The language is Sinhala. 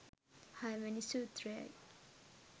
හයවැනි සූත්‍රයයි.